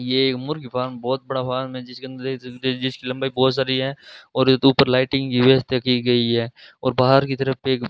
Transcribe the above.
ये एक मुर्गी फार्म बहोत बड़ा फॉर्म है जिसके अंदर जिसकी लंबाई बहोत सारी है और इसके ऊपर लाइटिंग की व्यवस्था की गई है और बाहर की तरफ एक --